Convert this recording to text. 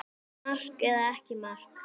Mark eða ekki mark?